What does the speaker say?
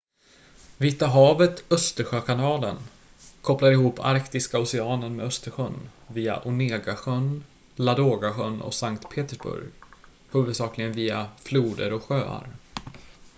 vita havet-östersjökanalen kopplar ihop arktiska oceanen med östersjön via onega-sjön ladoga-sjön och sankt petersburg huvudsakligen via floder och sjöar